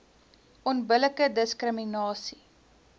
onbillike diskri minasie